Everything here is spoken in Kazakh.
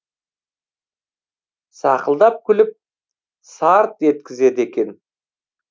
сақылдап күліп сарт еткізеді екен